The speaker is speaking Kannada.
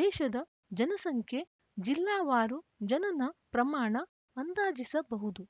ದೇಶದ ಜನಸಂಖ್ಯೆ ಜಿಲ್ಲಾವಾರು ಜನನ ಪ್ರಮಾಣ ಅಂದಾಜಿಸಬಹುದು